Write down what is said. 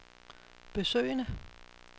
besøgende